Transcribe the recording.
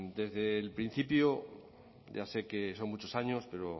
desde el principio ya sé que son muchos años pero